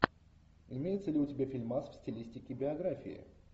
имеется ли у тебя фильмас в стилистике биографии